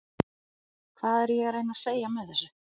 Hvað er ég að reyna að segja með þessu?